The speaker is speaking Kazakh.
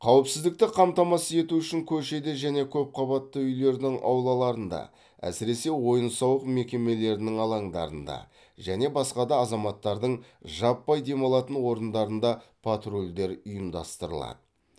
қауіпсіздікті қамтамасыз ету үшін көшеде және көпқабатты үйлердің аулаларында әсіресе ойын сауық мекемелерінің алаңдарында және басқа да азаматтардың жаппай демалатын орындарында патрульдер ұйымдастырылады